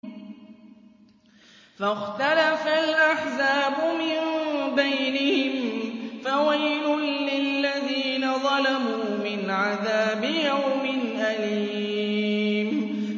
فَاخْتَلَفَ الْأَحْزَابُ مِن بَيْنِهِمْ ۖ فَوَيْلٌ لِّلَّذِينَ ظَلَمُوا مِنْ عَذَابِ يَوْمٍ أَلِيمٍ